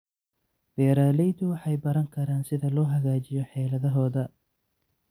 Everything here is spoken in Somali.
Beeraleydu waxay baran karaan sida loo hagaajiyo xeeladahooda.